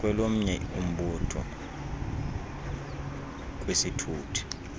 kwelomnye umbutho kwisithuthi